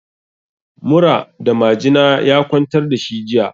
Mura da majina ya kwantar da shi jiya.